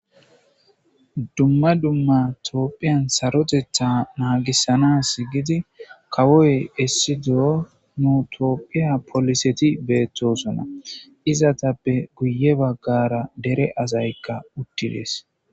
Duma duma tophiyan sarotethi nagisanasi giidi kawoy nu tophiya poliseti beetosona izetappe guye dere asayka uttides.